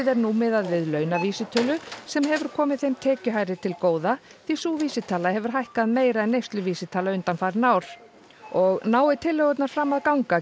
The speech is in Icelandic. er nú miðað við launavísitölu sem hefur komið þeim tekjuhærri til góða því sú vísitala hefur hækkað meira en neysluvísitala undanfarin ár og nái tillögurnar fram að ganga